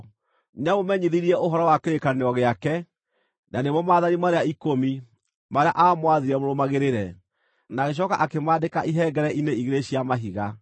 Nĩamũmenyithirie ũhoro wa kĩrĩkanĩro gĩake, na nĩmo Maathani marĩa Ikũmi, marĩa aamwathire mũrũmagĩrĩre, na agĩcooka akĩmaandĩka ihengere-inĩ igĩrĩ cia mahiga.